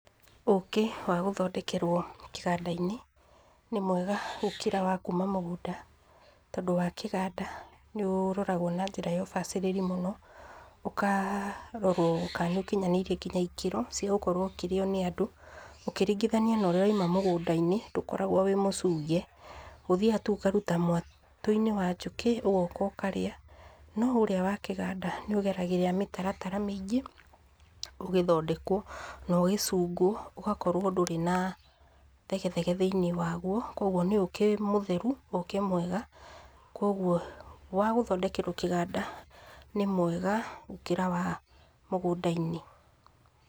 Ũkĩ wa gũthondekerwo kĩganda-inĩ, nĩ mwega gũkĩra wakuuma mũgũnda, tondũ wa kĩganda nĩ ũroragwo na njĩra ya ũbacĩrĩri mũno, ũkarorwo ka nĩũkinyanĩrie nginya ikĩro, cia gũkorwo ũkĩrĩo nĩ andũ, ũkĩringithanio no rĩa ũraima mĩgũnda-inĩ, ndũkoragwo wĩ mũcunge, ũthiaga tu ũkaruta mwato-inĩ wa njũkĩ, ũgoka ũkarĩa, no ũrĩa wa kĩganda, nĩ ũgeragĩria mĩtaratara mĩingĩ ũgĩthondeka, na ũgĩcunguo, ũgakorwo ndũrĩ na thegethege thĩiniĩ waguo, kwoguo nĩ ũkĩ mũtheru, ũkĩ mwega, kwoguo wa gũthondekerwo kĩganda nĩ mwega, gũkĩra wa mũgũnda.